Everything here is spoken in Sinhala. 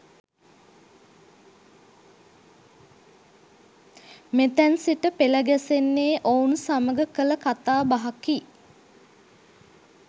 මෙතැන් සිට පෙළ ගැසෙන්නේ ඔවුන් සමග කළ කතා බහකි.